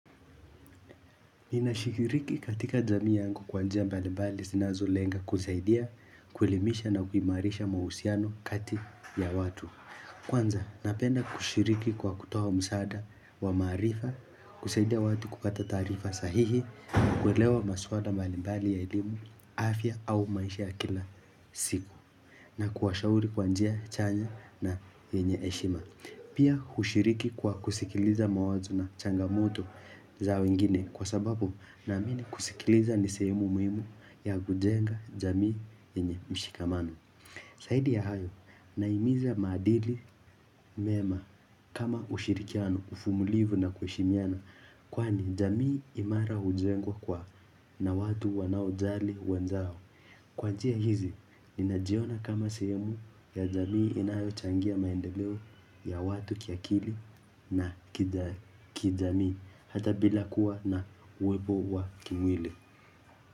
Ninashikiriki katika jamii yangu kwa njia mbalimbali zinazolenga kusaidia, kuelemisha na kuimarisha mahusiano kati ya watu. Kwanza, napenda kushiriki kwa kutoa msaada wa maarifa, kusaidia watu kupata taarifa sahihi, kuelewa maswala mbalimbali ya elimu, afya au maisha ya kila siku, na kuwashauri kwa njia chanya na yenye heshima. Pia hushiriki kwa kusikiliza mawazo na changamoto zao ingine kwa sababu naamini kusikiliza ni sehemu muhimu ya kujenga jamii yenye mshikamano. Zaidi ya hayo nahimiza maadili mema kama ushirikiano uvumulivu na kuheshimiana kwani jamii imara hujengwa kwa na watu wanaojali wenzao Kwa njia hizi, ninajiona kama sehemu ya jamii inayochangia maendeleo ya watu kiakili na kijamii hata bila kuwa na uwepo wa kimwili.